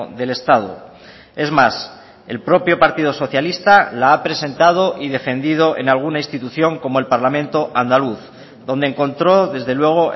del estado es más el propio partido socialista la ha presentado y defendido en alguna institución como el parlamento andaluz donde encontró desde luego